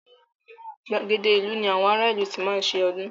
Gbàgede ìlú ní àwọn ará ìlú tí máa ń ṣe ọdún.